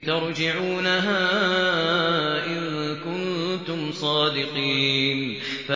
تَرْجِعُونَهَا إِن كُنتُمْ صَادِقِينَ